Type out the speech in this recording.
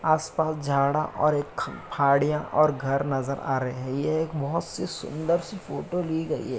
आसपास झाड़ा और एक ख पहाड़ियाँ और घर नज़र आ रहे हैं। यह एक बहोत सी सुंदर-सी फोटो ली गई हैं।